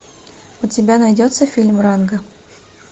у тебя найдется фильм ранго